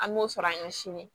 An b'o sɔrɔ an ye sini